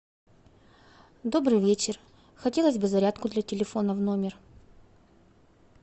добрый вечер хотелось бы зарядку для телефона в номер